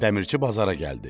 Dəmirçi bazara gəldi.